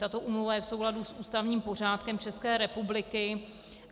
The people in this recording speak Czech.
Tato úmluva je v souladu s ústavním pořádkem České republiky.